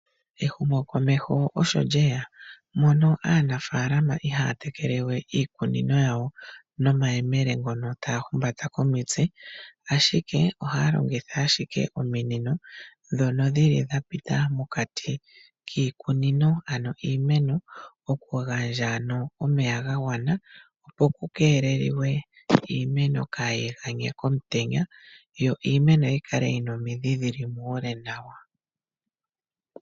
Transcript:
Ehumo komeho osho lyeya aanafalama ihaya tekele we iikunino yawo nomayemele ngono taya humbata komitse ashike ohaya longitha ominino ndhono dhapita mokati kiimeno. Oku gandja omeya ga gwana, opo iimeno kaayi ganye komutenya yo yi kale yina omidhi dhili muule nawa.